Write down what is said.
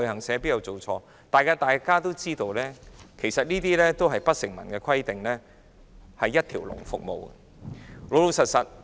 實際上，大家都知道不成文規定的有關一條龍服務。